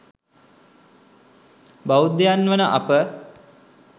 බෞද්ධයන් වන අප